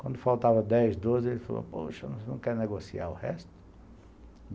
Quando faltava dez, doze, ele falou, poxa, você não quer negociar o resto?